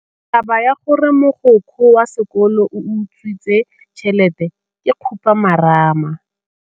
Taba ya gore mogokgo wa sekolo o utswitse tšhelete ke khupamarama.